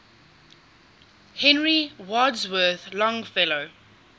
henry wadsworth longfellow